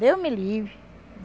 Deus me livre.